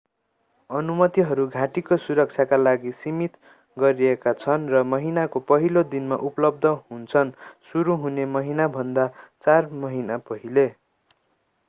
अनुमतिहरू घाटीको सुरक्षाका लागि सीमित गरिएका छन् र महिनाको पहिलो दिनमा उपलब्ध हुन्छन् सुरु हुने महिनाभन्दा चार महिना पहिले